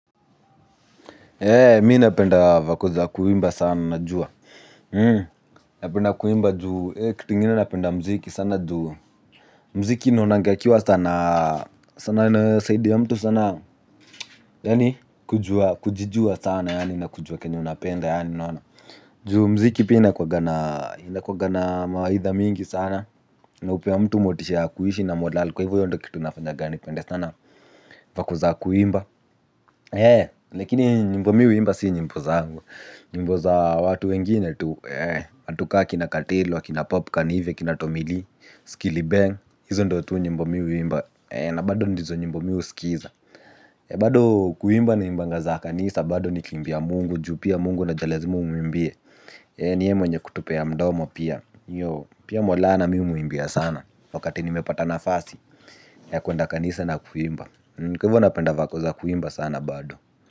Mi napenda vako za kuimba sana najua. Napenda kuimba juu kitu igine napenda mziki sana juu mziki naonanga ikiwa sanaa. Sanaa inasaidia mtu sana. Yaani kujijua sana yaani nakujua kenye unapenda yaani juu mziki pia inakuanga na mawaidha mingi sana na hupea mtu motisha ya kuishi na morale. Kwa hivyo hio ndio kitu inafanyanga nipende sana vako za kuimba lakini nyimbo mi huimba si nyimbo zangu ni nyimbo za watu wengine tu watu ka akina kartelo akina popcan hivi akina tomilee skiliben hizo ndio nyimbo mi huimba na bado hizo ndio nyimbo mi huskiza. Bado kuimba na imbanga za kanisa. Bado nikiimbia mungu, juu pia mungu unajua lazima umuimbie. Ni yeye mwenye kutupea mdomo pia. Pia maulana mi humuimbia sana. Wakati nimepata nafasi ya kwenda kanisa na kuimba. Kwa hivyo napenda vako za kuimba sana bado.